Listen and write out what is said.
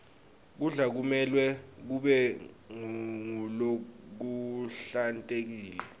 kudla kumelwe kube ngulokuhlantekile